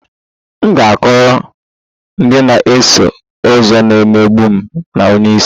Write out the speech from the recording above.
M ga-akọrọ ndị na-eso ụzọ na-emegbu m na onye isi